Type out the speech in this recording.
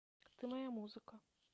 ты моя музыка